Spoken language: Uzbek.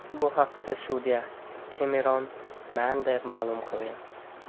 Bu haqda sudya Kemeron Mander ma’lum qilgan.